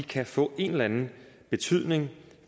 kan få en eller anden betydning